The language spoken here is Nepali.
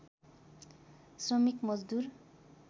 श्रमिक मजदूर